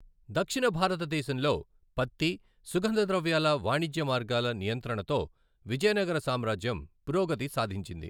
దక్షిణ భారత దేశంలో పత్తి, సుగంధ ద్రవ్యాల వాణిిజ్య మార్గాల నియంత్రణతో విజయనగర సామ్రాజ్యం పురోగతి సాధించింది.